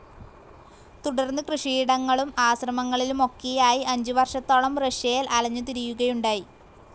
തുടർന്ന് കൃഷിയിടങ്ങളും ആശ്രമങ്ങളിലുമൊക്കയായി അഞ്ചുവർഷത്തോളം റഷ്യയിൽ അലഞ്ഞുതിരിയുകയുണ്ടായി.